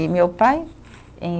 E meu pai em